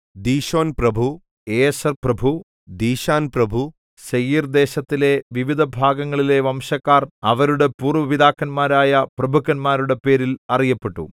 ദീശോൻപ്രഭു ഏസെർപ്രഭു ദീശാൻ പ്രഭു സേയീർദേശത്തിലെ വിവിധഭാഗങ്ങളിലെ വംശക്കാർ അവരുടെ പൂർവ്വപിതാക്കന്മാരായ പ്രഭുക്കന്മാരുടെ പേരിൽ അറിയപ്പെട്ടു